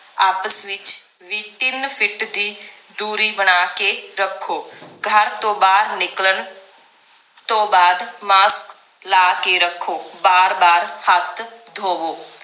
ਆਪਸ ਵਿਚ ਵੀ ਤਿੰਨ ਫਿੱਟ ਦੀ ਦੂਰੀ ਬਣਾ ਕੇ ਰੱਖੋ ਘਰ ਤੋਂ ਬਾਹਰ ਨਿਕਲਣ ਤੋਂ ਬਾਅਦ mask ਲਾ ਕੇ ਰੱਖੋ ਬਾਰ ਬਾਰ ਹੱਥ ਧੋਵੋ